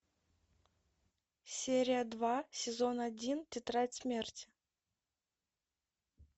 серия два сезон один тетрадь смерти